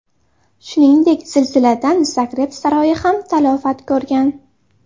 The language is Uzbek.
Shuningdek, zilziladan Zagreb saroyi ham talafot ko‘rgan.